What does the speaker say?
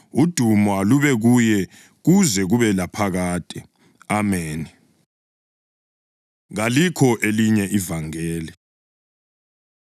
udumo kalube kuye kuze kube laphakade. Ameni. Kalikho Elinye Ivangeli